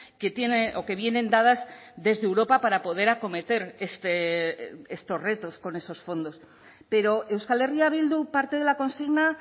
que tiene o que vienen dadas desde europa para poder acometer estos retos con esos fondos pero euskal herria bildu parte de la consigna